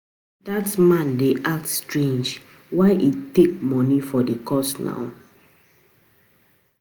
um Dat man um dey act strange. Why he dey take money for the course now?